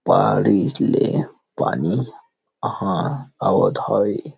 पहाड़ी ले पानी ह आवत हवे।